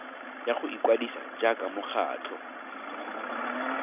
ya go ikwadisa jaaka mokgatlho